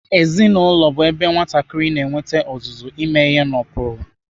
Ezinaụlọ bụ ebe mbụ nwatakịrị na-enwete ọzụzụ ime ihe n'ụkpụrụ.